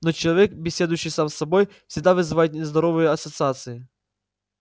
но человек беседующий сам с собой всегда вызывает нездоровые ассоциации